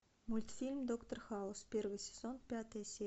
мультфильм доктор хаус первый сезон пятая серия